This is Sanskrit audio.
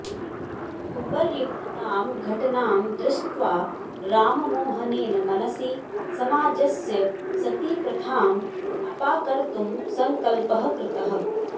उपर्युक्तां घटनां दृष्ट्वा राममोहनेन मनसि समाजस्य सतीप्रथाम् अपाकर्तुं सङ्कल्पः कृतः